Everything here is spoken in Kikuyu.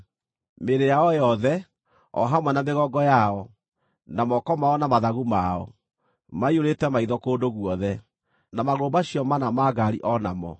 Mĩĩrĩ yao yothe, o hamwe na mĩgongo yao, na moko mao na mathagu mao, maiyũrĩte maitho kũndũ guothe, na magũrũ macio mana ma ngaari o namo.